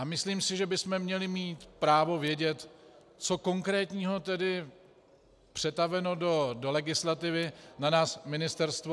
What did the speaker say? A myslím si, že bychom měli mít právo vědět, co konkrétního tedy přetaveno do legislativy na nás ministerstvo...